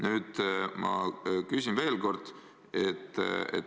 Nüüd ma küsin veel kord.